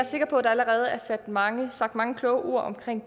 sikker på at der allerede er sagt mange sagt mange kloge ord om